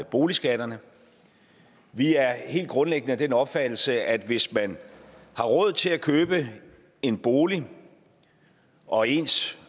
boligskatterne vi er helt grundlæggende af den opfattelse at hvis man har råd til at købe en bolig og ens